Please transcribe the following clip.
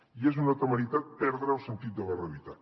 i és una temeritat perdre el sentit de la realitat